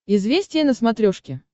известия на смотрешке